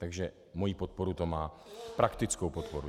Takže moji podporu to má, praktickou podporu.